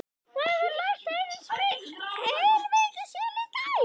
Það hefur lægt heilmikið síðan í gær.